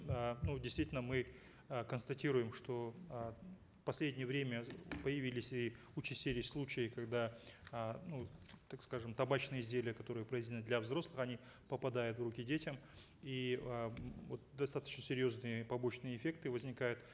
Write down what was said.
э ну действительно мы э констатируем что э в последнее время появились и участились случаи когда э ну так скажем табачные изделия которые произведены для взрослых они попадают в руки детям и м вот достаточно серьезные побочные эффекты возникают